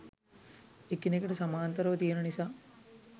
එකිනෙකට සමාන්තරව තියෙන නිසා